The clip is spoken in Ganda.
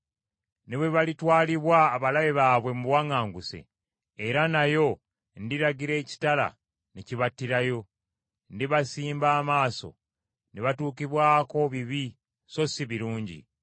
Ne bwe balitwalibwa abalabe baabwe mu buwaŋŋanguse, era nayo ndiragira ekitala ne kibattirayo. Ndibasimba amaaso ne batuukibwako bibi so si birungi.”